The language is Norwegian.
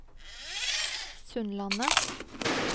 Sundlandet